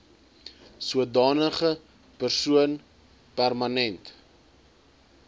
sodanige persoon permanent